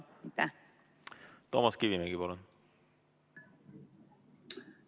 Toomas Kivimägi, palun!